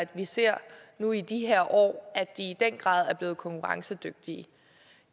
vi ser nu i de her år at det i den grad er blevet konkurrencedygtigt